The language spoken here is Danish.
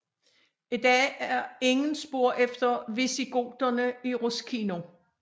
I dag er ingen spor efter visigoterne i Ruscino